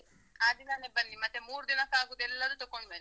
ಆ ದಿನನೇ ಬನ್ನಿ, ಮತ್ತೆ ಮೂರ್ ದಿನಕ್ಕಾಗುದೆಲ್ಲದು ತೊಕೊಂಡ್ ಬನ್ನಿ.